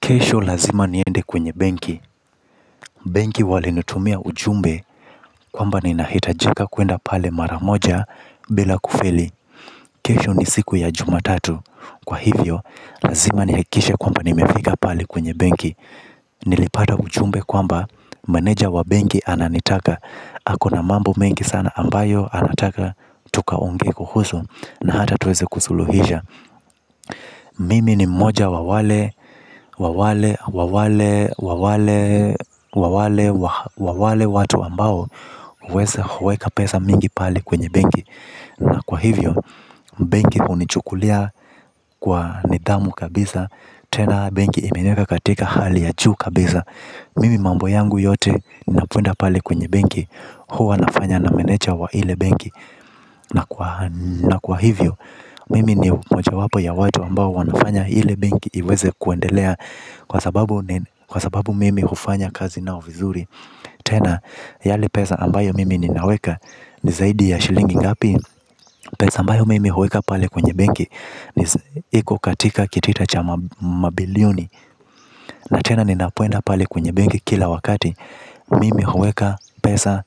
Kesho lazima niende kwenye benki. Benki wale nutumia ujumbe. Kwamba ni nahitajika kuenda pale maramoja. Bila kufeli kesho ni siku ya juma tatu kwa hivyo lazima nihakikishe nimefika pale kwenye benki. Nilipata ujumbe kwamba maneja wa benki ananitaka. Hako na mambo mengi sana ambayo anataka tukaonge kuhusu na hata tuweze kusuluhisha. Mimi ni moja wawale, wawale, wawale, wawale. Wawale watu ambao uweza huweka pesa mingi pali kwenye bengi. Na kwa hivyo. Bengi unichukulia. Kwa nidhamu kabisa. Tena bengi imenieka katika hali ya juu kabisa. Mimi mambo yangu yote napoenda pali kwenye bengi. Huwa nafanya na meneja wa ile bengi na kwa hivyo mimi ni mmoja wapo ya watu ambao wanafanya ile benki iweze kuendelea kwa sababu mimi hufanya kazi nao vizuri. Tena yale pesa ambayo mimi ninaweka. Ni zaidi ya shilingi ngapi. Pesa ambayo mimi huweka pale kwenye bengi iko katika kitita cha mabilioni. Na tena ninapoenda pale kwenye benki kila wakati mimi huweka pesa.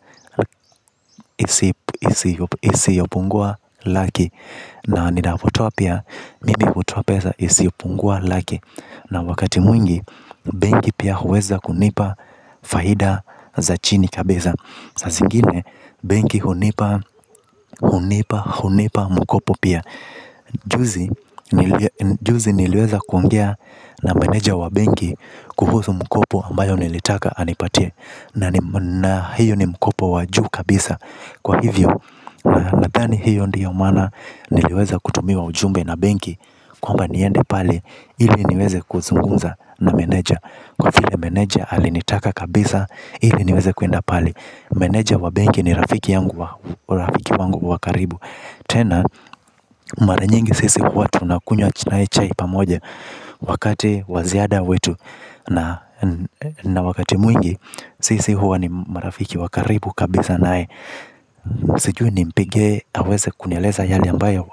Isiopungua laki. Na ninapotoa pia mimi utoa pesa. Isiopungua laki. Na wakati mwingi bengi pia huweza kunipa. Faida za chini kabisa. Sasingine bengi hunipa Hunipa Hunipa Mkopo pia. Juzi juzi niliweza kuongea na menaja wa bengi kuhusu mkopo ambayo nilitaka anipatie na hiyo ni mkopo wa juu kabisa kwa hivyo. Nadhani hiyo ndiyo maana. Niliweza kutumiwa ujumbe na Bengi Kwamba niende pale. Hili niweze kuzungunza. Na mbeneja kwa vile meneja alinitaka kabisa. Ili niweze kuenda pali. Meneja wa bengi ni rafiki yangu. Rafiki wangu wakaribu. Tena, maranyingi sisi kuatu nakunywa nae chai pamoje. Wakati wa ziada wetu. Na wakati mwingi sisi huwa ni marafiki wakaribu kabisa nae. Sijui nimpige haweze kunyeleza yali ambayo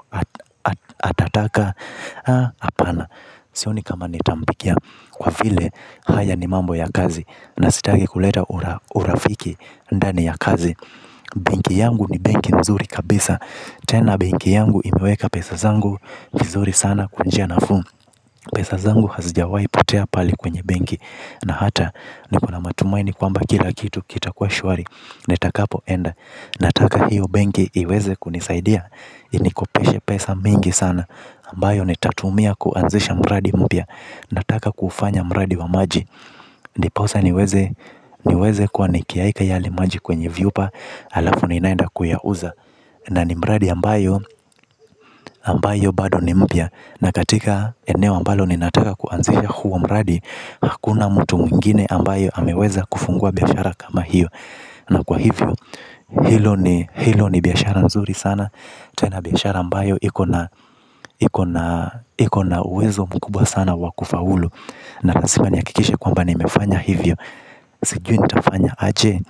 atataka apana. Sioni kama nitampikia kwa vile haya ni mambo ya kazi. Na sitaki kuleta urafiki ndani ya kazi. Bengi yangu ni bengi nzuri kabisa. Tena bengi yangu imiweka pesa zangu mzuri sana kwa njia nafuu. Pesa zangu hazijawaipotea pali kwenye bengi. Na hata nikula matumaini kwamba kila kitu kita kwa shuari netakapo enda. Nataka hiyo bengi iweze kunisaidia. Inikopeshe pesa mingi sana ambayo nitatumia kuanzisha mradi mpya. Nataka kufanya mradi wa maji. Ndiposa niweze kwa nikiaika ya limaji kwenye viupa. Alafu niinaenda kuyauza. Na ni mradi ambayo ambayo bado ni mpya na katika eneo ambalo ninataka kuanzia uo mradi hakuna mtu mwingine ambaye ameweza kufungua biashara kama hiyo. Na kwa hivyo hilo ni biashara nzuri sana. Tena biashara ambayo hiko na uwezo mkubwa sana wakufaulu. Na lazima niya kikishe kwamba ni mefanya hivyo. Sijui ni tafanya aje.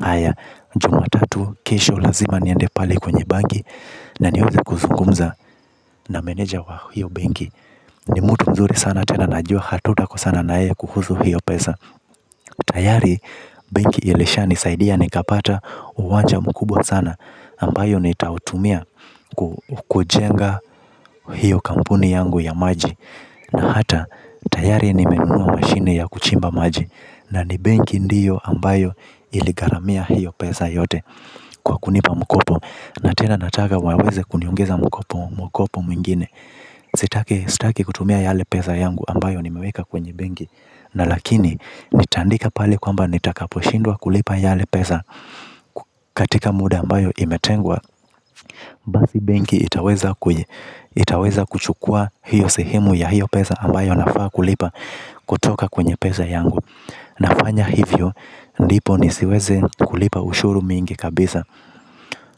Haya jumatatu kesho lazima niende pale kwenye bangi. Na niweze kuzungumza na meneja wa hiyo bengi. Ni mutu mzuri sana tena najua hatutakosana naye kuhusu hiyo pesa. Tayari bengi ilisha nisaidia ni kapata uwanja mkubwa sana ambayo ni tautumia kujenga hiyo kampuni yangu ya maji. Na hata tayari nimenunua mashine ya kuchimba maji. Na ni bengi ndiyo ambayo iligaramia hiyo pesa yote kwa kunipa mkopo. Na tena nataka waweze kuniongeza mkopo mwokopo mwingine. Sitake sitaki kutumia yale pesa yangu ambayo nimeweka kwenye bengi. Na lakini nitaandika pali kwamba nitakaposhindwa kulipa yale pesa katika muda ambayo imetengwa. Basi bengi itaweza kuchukua hiyo sehemu ya hiyo pesa ambayo nafaa kulipa kutoka kwenye pesa yangu. Nafanya hivyo ndipo nisiweze kulipa ushuru mingi kabisa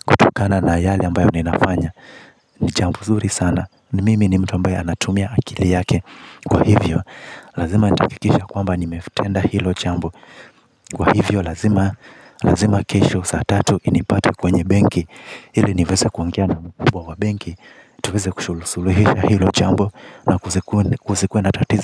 kutokana na yale ambayo ninafanya. Ni chambo nzuri sana ni mimi ni mtu ambae anatumia akili yake. Kwa hivyo lazima nitaakikisha kwamba ni metenda hilo chambo. Kwa hivyo lazima kesho saa tatu inipate kwenye benki hili niveza kuongea na mkubwa wa benki. Tuweze kusuluhisha hilo jambo na kuzikue na tatizo.